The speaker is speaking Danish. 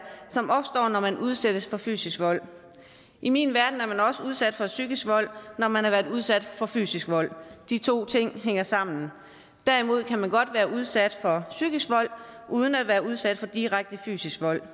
som opstår når man udsættes for fysisk vold i min verden er man også udsat for psykisk vold når man har været udsat for fysisk vold de to ting hænger sammen derimod kan man godt være udsat for psykisk vold uden at være udsat for direkte fysisk vold